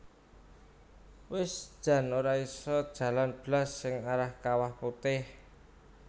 Wis jan ora iso jalan blas sing arah Kawah Putih